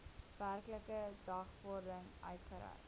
werklike dagvaarding uitgereik